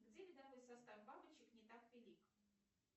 где видовой состав бабочек не так велик